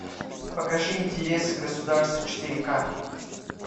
покажи интересы государства четыре ка